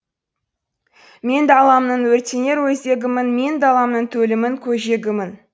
мен даламның өртенер өзегімін мен даламның төлімін көжегімін